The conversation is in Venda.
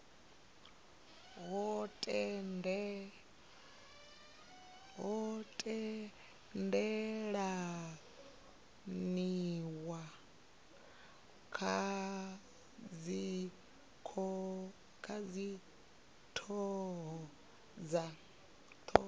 ho tendelaniwa kha dzithoho dza